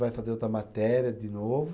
Vai fazer outra matéria de novo.